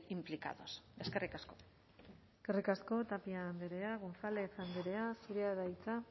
implicados eskerrik asko eskerrik asko tapia andrea gonzález andrea zurea da hitza